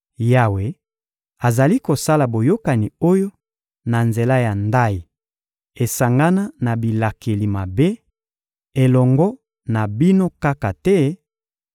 Yawe azali kosala boyokani oyo, na nzela ya ndayi esangana na bilakeli mabe, elongo na bino kaka te,